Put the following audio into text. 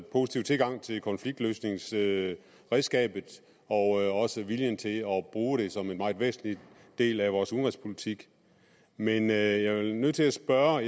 positive tilgang til konfliktløsningsredskabet og også viljen til at bruge det som en meget væsentlig del af vores udenrigspolitik men jeg er i nødt til at spørge